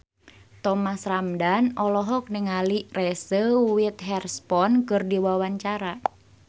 Thomas Ramdhan olohok ningali Reese Witherspoon keur diwawancara